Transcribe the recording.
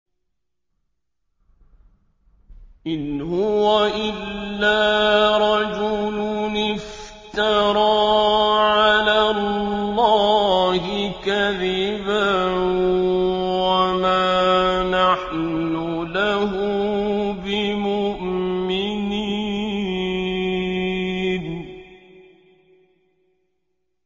إِنْ هُوَ إِلَّا رَجُلٌ افْتَرَىٰ عَلَى اللَّهِ كَذِبًا وَمَا نَحْنُ لَهُ بِمُؤْمِنِينَ